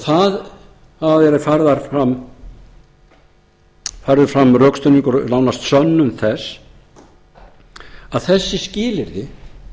það hefur verið færður fram rökstuðningur nánast sönnun þess að þessi skilyrði